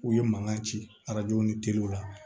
U ye mankan ci arajow ni teliw la